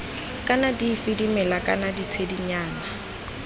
kana dife dimela kana ditshedinyana